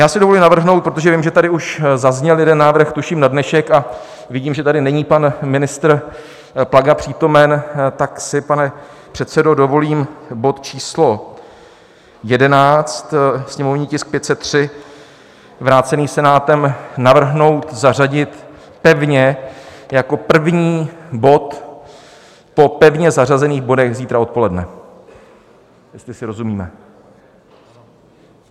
Já si dovolím navrhnout, protože vím, že tady už zazněl jeden návrh, tuším na dnešek, a vidím, že tady není pan ministr Plaga přítomen, tak si, pane předsedo, dovolím bod číslo 11, sněmovní tisk 503 vrácený Senátem, navrhnout zařadit pevně jako první bod po pevně zařazených bodech zítra odpoledne, jestli si rozumíme.